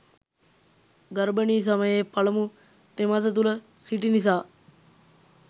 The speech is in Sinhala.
ගර්භණී සමයේ පළමු තෙමස තුළ සිටි නිසා